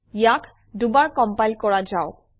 ইয়াক দুবাৰ কমপাইল কৰা যাওক